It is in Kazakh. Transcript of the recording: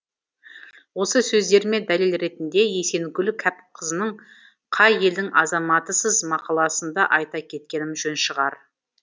осы сөздеріме дәлел ретінде есенгүл кәпқызының қай елдің азаматысыз мақаласын да айта кеткенім жөн шығар